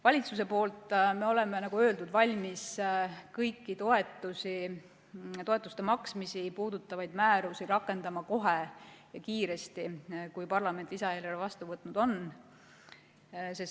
Valitsuse poolt me oleme, nagu öeldud, valmis kõiki toetusi, toetuste maksmisi puudutavaid määrusi rakendama kohe ja kiiresti, kui parlament lisaeelarve vastu võtnud on.